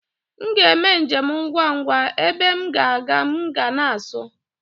M ga-eme njem ngwa ngwa, ebe m ga-aga m ga na-asụ